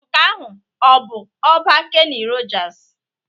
Nke ahụ ọ bụ ọba Kenny Rogers?